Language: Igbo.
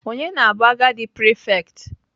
Ọnye na-bụ agadi prefect?